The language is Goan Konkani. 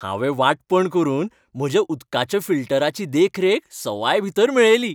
हांवें वांटपण करून म्हज्या उदकाच्या फिल्टराची देखरेख सवायभितर मेळयली.